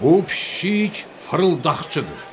Bu pişik fırıldaqçıdır.